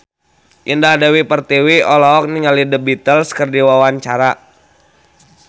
Indah Dewi Pertiwi olohok ningali The Beatles keur diwawancara